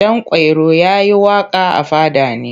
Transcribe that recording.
Ɗanƙwairo ya yi waƙa a fada ne.